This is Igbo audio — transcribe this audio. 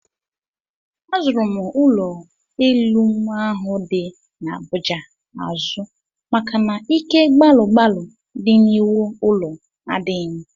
Azụrụ m ụlọelu m ahụ dị n'Abuja azụ maka na ike gbalụ gbalụ dị n'iwu ụlọ adịghị m